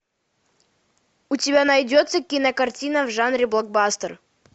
у тебя найдется кинокартина в жанре блокбастер